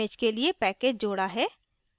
image के लिए package जोडा है